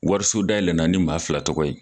Warisodayɛlɛnna ni maa fila tɔgɔ ye.